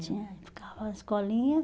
Tinha, ficava na escolinha.